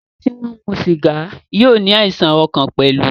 Àwọn tí wọ́n ń mu sìgá yóò ní àìsàn ọkàn pẹ̀lú.